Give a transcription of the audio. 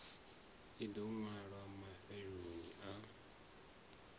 ḽi ḓo ṅwalwa mafheloni a